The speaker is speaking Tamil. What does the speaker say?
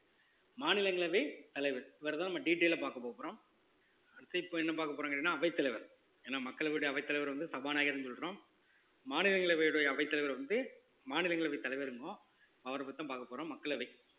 மாநிலங்களவை தலைவர் இவரைத்தான் நம்ம detail ஆ பார்க்க போகப்போறோம் அடுத்து இப்ப என்ன பாக்க போறோம்னு கேட்டீங்கன்னா அவைத்தலைவர் ஏன்னா மக்களுடைய அவைத்தலைவர் வந்து சபாநாயகர்ன்னு சொல்றோம் மாநிலங்களவையினுடைய அவைத்தலைவர் வந்து மாநிலங்களவை தலைவரும்போம் அவரை பத்திதான் பார்க்கப் போறோம் மக்களவை